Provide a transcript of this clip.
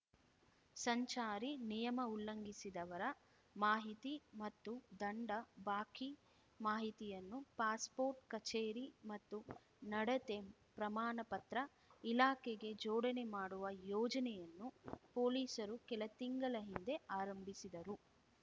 ಸಂಚಾರಿ ನಿಯಮ ಉಲ್ಲಂಘಿಸಿದವರ ಮಾಹಿತಿ ಮತ್ತು ದಂಡ ಬಾಕಿ ಮಾಹಿತಿಯನ್ನು ಪಾಸ್‌ಪೋರ್ಟ್‌ ಕಚೇರಿ ಮತ್ತು ನಡತೆ ಪ್ರಮಾಣ ಪತ್ರ ಇಲಾಖೆಗೆ ಜೋಡಣೆ ಮಾಡುವ ಯೋಜನೆಯನ್ನು ಪೊಲೀಸರು ಕೆಲ ತಿಂಗಳ ಹಿಂದೆ ಆರಂಭಿಸಿದರು